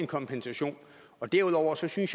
kompensation derudover synes jeg